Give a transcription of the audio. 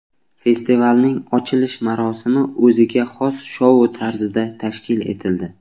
Festivalning ochilish marosimi o‘ziga xos shou tarzida tashkil etildi.